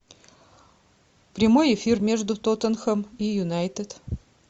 прямой эфир между тоттенхэм и юнайтед